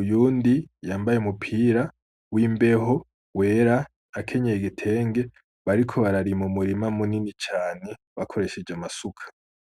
uyundi yambaye umupira w'imbeho wera akenyeye igitenge, bariko bararima umurima munini cane bakoresheje amasuka.